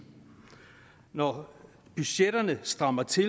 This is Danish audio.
når budgetterne strammer til